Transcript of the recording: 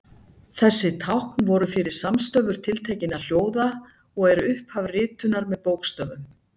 þessi tákn voru fyrir samstöfur tiltekinna hljóða og eru upphaf ritunar með bókstöfum